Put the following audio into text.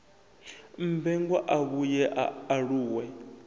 mmbengwa a vhuye a aluwe